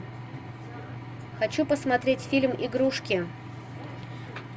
хочу посмотреть фильм игрушки